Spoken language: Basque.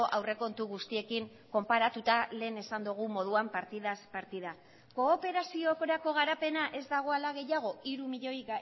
aurrekontu guztiekin konparatuta lehen esan dugun moduan partidaz partida kooperaziorako garapena ez dagoela gehiago hiru milioi